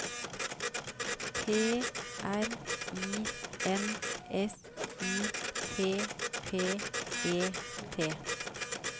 P R I N S I P P E T